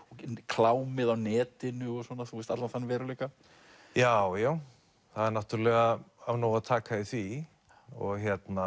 klámið á netinu og svona allan þann veruleika já já það náttúrulega af nógu að taka í því og